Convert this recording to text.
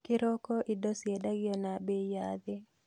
Kĩroko indo ciendagio na mbei ya thĩ